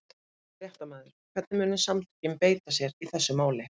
Fréttamaður: Hvernig munu samtökin beita sér í þessu máli?